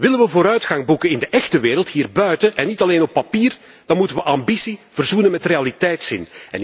Willen we vooruitgang boeken in de echte wereld hier buiten, en niet alleen op papier, dan moeten we ambitie verzoenen met realiteitszin.